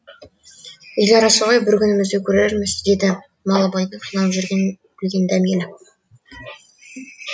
ел арасы ғой біз күнімізді көрерміз деді малыбайдың қиналып жүргенін білген дәмелі